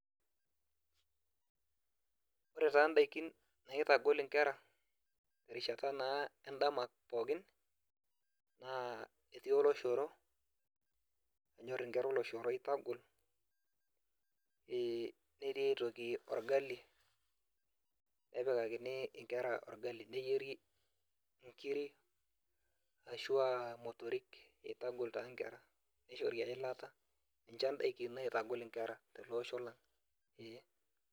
Ore taa ndakini naitagol nkera terishati na endama naa etii oloshoro, enyor nkera nkera oloshoro oitagol netii aitoki orgali, nepikakini nkera orgali neyieri nkirik ashu motorik amu itagol taa nkera nishori eilata, ninche ndakin naitogol nkera teleosho lang.